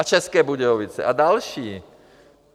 A České Budějovice a další.